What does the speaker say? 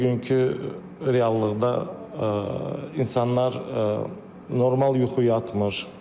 Bugünkü reallıqda insanlar normal yuxu yatmır.